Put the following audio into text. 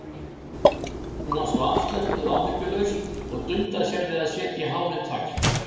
Hún var svo afslöppuð og áhyggjulaus og dundaði sér við að setja hárið í tagl.